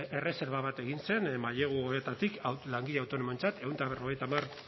erreserba bat egin zen mailegu hauetatik langile autonomoentzat ehun eta berrogeita hamar